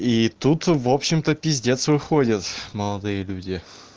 и тут в общем-то пиздец выходит молодые люди